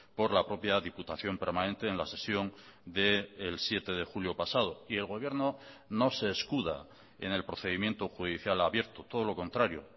por la propia diputación permanente en la sesión del siete de julio pasado y el gobierno no se escuda en el procedimiento judicial abierto todo lo contrario